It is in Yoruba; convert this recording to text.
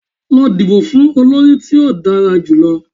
Lọ dibo fun olori ti o dara julọ!